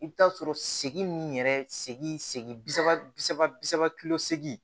I bɛ t'a sɔrɔ segin min yɛrɛ segi segin bi saba bi saba bi saba kilo seegin